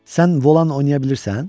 Sən volan oynaya bilirsən?